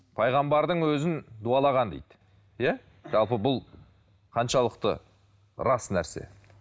пайғамбардың өзін дуалаған дейді иә жалпы бұл қаншалықты рас нәрсе